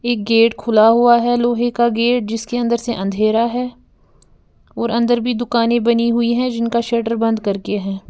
एक गेट खुला हुआ है लोहे का गेट जिसके अंदर से अंधेरा है और अंदर भी दुकानें बनी हुई है जिनका शटर बंद करके है।